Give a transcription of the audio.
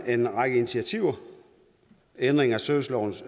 en række initiativer ændring af servicelovens